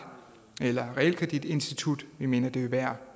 eller realkreditinstitut vi mener det vil være